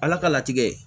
Ala ka latigɛ